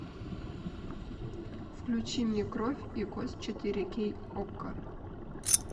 включи мне кровь и кость четыре кей окко